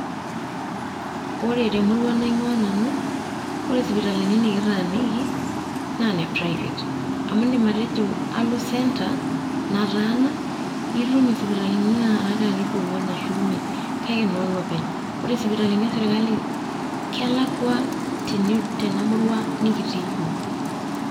Ore temurua naing'ua nanu, ore isipitalini nikittaniki na ne private. Amu iidim atejo alo centre ,nataana, itum isipitalini nara karibu ong'uan arashu imiet kake no loopeny. Ore isipitalini esirkali kelakwa tenamurua nikitii yiok.